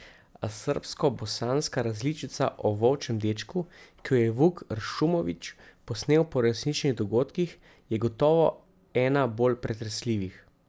A srbskobosanska različica o volčjem dečku, ki jo je Vuk Ršumović posnel po resničnih dogodkih, je gotovo ena bolj pretresljivih.